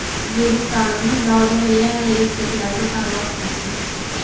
O‘zbekistonimiz dovrug‘i yanada yuksaklarga parvoz qilsin.